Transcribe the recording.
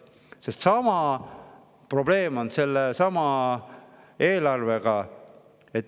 Sest sama probleem on eelarvega.